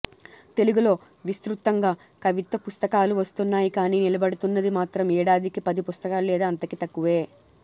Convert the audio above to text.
తెలుగులో విస్తృతంగా కవిత్వ పుస్తకాలు వస్తున్నాయి కానీ నిలబడుతున్నది మాత్రం ఏడాదికి పది పుస్తకాలు లేదా అంతకి తక్కువే